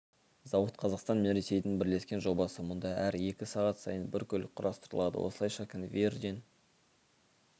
зауыт қазақстан мен ресейдің бірлескен жобасы мұнда әр екі сағат сайын бір көлік құрастырылады осылайша конвейерден